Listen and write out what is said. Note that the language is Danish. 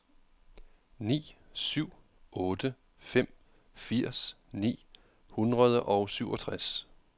ni syv otte fem firs ni hundrede og syvogtres